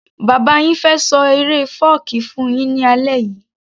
Bàbá yin fẹ́ ṣọ eré fọ́ọ̀kí fún yín ní alẹ́ yìí